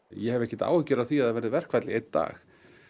ég hef ekkert áhyggjur af því að það verði verkfall í einn dag